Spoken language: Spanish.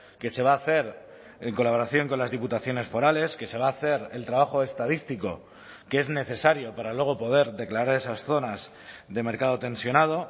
que se va a hacer en colaboración con las diputaciones forales que se va a hacer el trabajo estadístico que es necesario para luego poder declarar esas zonas de mercado tensionado